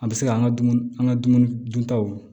An bɛ se ka an ka dumuni an ka dumuni duntaw